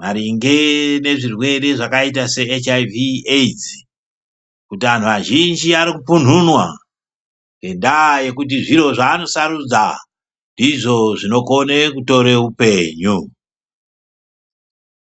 maringe ngezvirwere zvakaite seHIV/AIDS kuti antu azhinji arikupunhunwa ngendaa yekuti zviro zvaari kusarudza ndizvo zvinokone kutora upenyu.